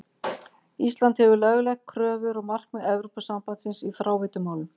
Ísland hefur lögleitt kröfur og markmið Evrópusambandsins í fráveitumálum.